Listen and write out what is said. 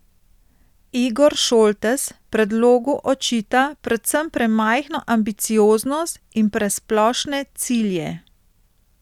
Igor Šoltes predlogu očita predvsem premajhno ambicioznost in presplošne cilje.